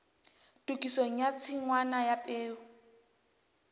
tokisong ya tshingwana ya peo